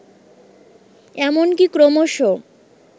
এমনকি ক্রমশ